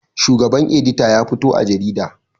Shugaban edita ya fito a jarida